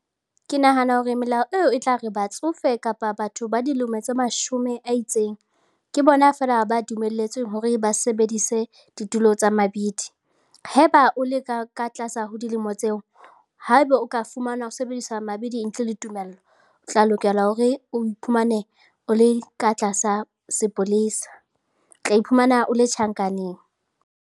Ke nahana hore melao eo e tla re batsofe kapa batho ba dilemo tse mashome a itseng ke bona feela ba dumelletsweng hore ba sebedise ditulo tsa mabidi. Haeba o leka ka tlasa ho dilemo tseo haeba o ka fumanwa o sebedisa mabidi ntle le tumello, o tla lokela hore o iphumane o le ka tlasa sepolesa, tla iphumana o le tjhankaneng.